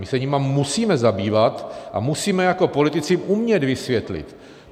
My se jimi musíme zabývat a musíme jako politici umět vysvětlit.